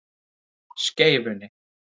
Skeifunni